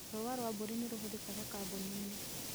Rũũa rwa mbũri nĩ rũhũthĩkaga kambũni-inĩ